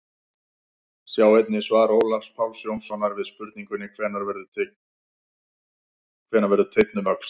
Sjá einnig svar Ólafs Páls Jónssonar við spurningunni Hvenær verður teinn að öxli?